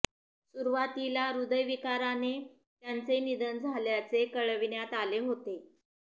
सुरूवातीला ह्रदयविकाराने त्यांचे निधन झाल्याचे कळविण्यात आले होते